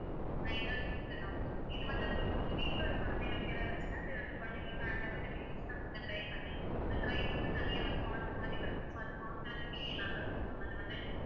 and இன்னொரு tips உ நான் உங்களுக்கு இது வந்து உங்களுக்கு உங்க வீட்ல உள்ள குழந்தைகளுக்கு எதாவது வந்துச்சுனா அந்த அந்த குழந்தைகளுக்கு hand அ வந்து அத வந்து try பண்ணி ஒரு கை மட்டும் தனியா ஒரு part மாதிரி வரும் so அது பார்க்கிறதுக்கே நல்லா இருக்கும் ma'am அது வந்து